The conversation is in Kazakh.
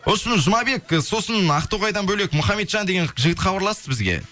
вообщем жұмабек ы сосын ақтоғайдан бөлек мұхаммеджан деген жігіт хабарласты бізге